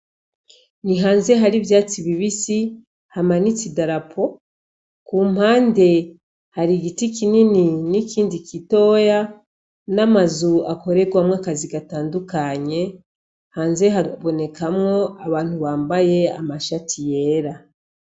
Ni hanze hari ivyatsi bibisi hamanitse idarapo; ku mpande hari igiti kinini n'ikindi gitoya, n'amazu akoregwamo akazi gatandukanye. Hanze habonekamo abantu bambaye amashati yera.